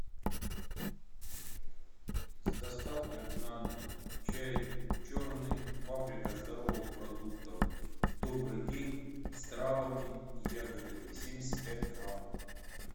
с доставкой на дом чай черный фабрика здоровых продуктов добрый день с травами и ягодами семьдесят пять грамм